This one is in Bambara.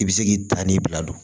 I bɛ se k'i tan ni bila don